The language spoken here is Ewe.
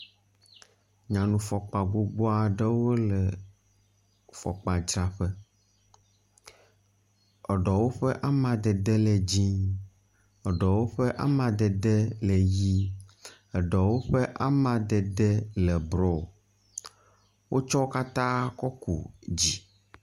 Nyɔnu fɔkpa gbogbo aɖewo le fɔkpadzraƒe. eɖewo ƒe amadede le dzɛ̃, eɖewo ƒe amadede le ʋɛ̃, eɖewo ƒe amadede le blɔ. Wotsɔ wo katã tsɔ ku dzi.